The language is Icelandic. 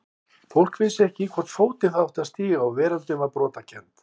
Fólk vissi ekki í hvorn fótinn það átti að stíga og veröldin var brotakennd.